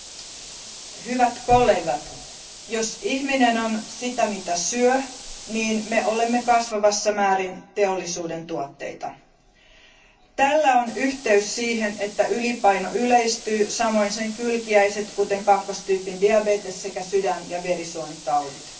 Arvoisa puhemies, hyvät kollegat, jos ihminen on sitä mitä syö, me olemme kasvavassa määrin teollisuuden tuotteita. Tällä on yhteys siihen, että ylipaino yleistyy ja samoin sen kylkiäiset kuten kakkostyypin diabetes sekä sydän ja verisuonitaudit.